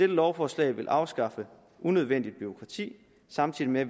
lovforslag vil afskaffe unødvendigt bureaukrati samtidig med at